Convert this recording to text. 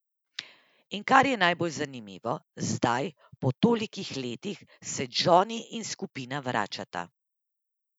In kar je najbolj zanimivo, zdaj, po tolikih letih, se Džoni in skupina vračata.